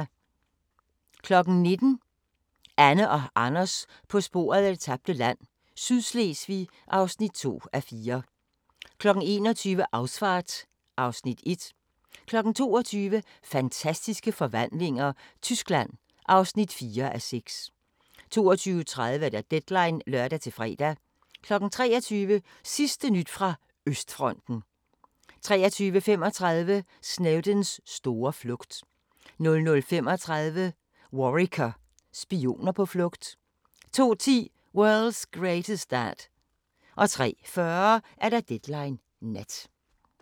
19:00: Anne og Anders på sporet af det tabte land – Sydslesvig (2:4) 21:00: Ausfahrt (Afs. 1) 22:00: Fantastiske forvandlinger – Tyskland (4:6) 22:30: Deadline (lør-fre) 23:00: Sidste nyt fra Østfronten 23:35: Snowdens store flugt 00:35: Worricker: Spioner på flugt 02:10: World's Greatest Dad 03:40: Deadline Nat